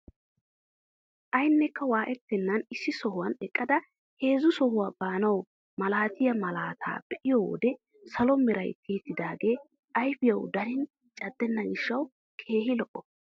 Aynekka waayettenan issi sohuwaan eqqada heezzu sohuwaa baanawu malatiyaa malataa be'iyoo wode salo meran tiyettidagee ayfiyawu darin caddena gishshawu keehi lo"ees.